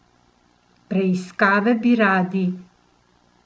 Preiskave bi radi?